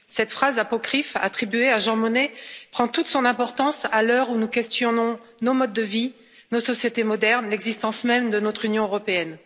Cette phrase apocryphe attribuée à Jean Monnet prend toute son importance à l'heure où nous questionnons nos modes de vie, nos sociétés modernes, l'existence même de notre Union européenne.